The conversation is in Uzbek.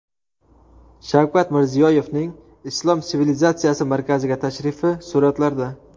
Shavkat Mirziyoyevning Islom sivilizatsiyasi markaziga tashrifi suratlarda.